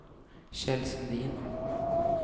Kjell Sundin